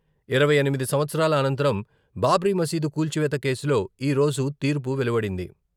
ఇరవై ఎనిమిది సంవత్సరాల అనంతరం బాబ్రీ మసీదు కూల్చివేత కేసులో ఈరోజు తీర్పు వెలువడింది.